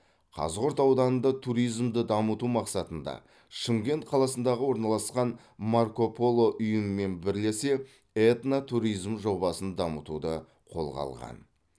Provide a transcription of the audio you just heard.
қазғұрт ауданында туризмді дамыту мақсатында шымкент қаласындағы орналасқан марко поло ұйымымен бірелсе этно туризм жобасын дамытуды қолға алған